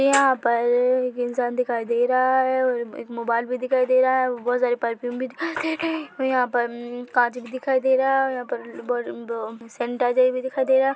यहाँ परररर इंसान दिखाई दे रहा है और एक मोबाइल भी दिखाई दे रहा है और बहुत सारे परफ्यूम भी दिखाई दे रहे और यहाँ पर ममम कांच भी दिखाई दे रहा है और यहाँ पर बडेम-बो सैनिटाइजर भी दिखाई दे रहा --